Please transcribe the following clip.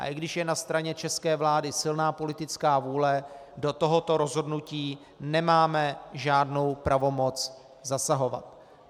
A i když je na straně české vlády silná politická vůle, do tohoto rozhodnutí nemáme žádnou pravomoc zasahovat.